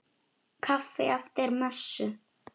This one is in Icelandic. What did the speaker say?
Kaffi eftir messu.